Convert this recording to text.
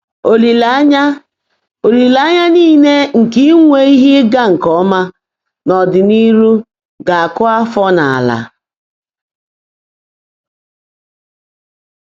Ólìléényá Ólìléényá níle nkè ínwé íhe ị́gá nkè ọ́mã n’ọ́dị́nihú gá-ákụ́ áfọ́ n’àlá.